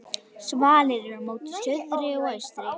Svalir eru móti suðri og austri.